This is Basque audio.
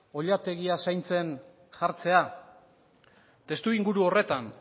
oilategia zaintzen jartzea testuinguru horretan